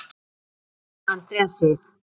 Þín Andrea Sif.